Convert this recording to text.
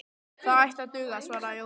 Það ætti að duga, svaraði Jói.